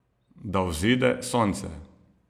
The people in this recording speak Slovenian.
Da vzide sonce.